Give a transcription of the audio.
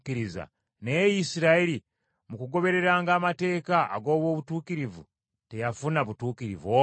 naye Isirayiri mu kugobereranga amateeka ag’obutuukirivu, teyafuna butuukirivu obwo?